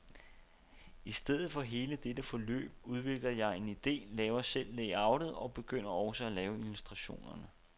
I stedet for hele dette forløb udvikler jeg en ide, laver selv layoutet og begynder også at lave illustrationerne.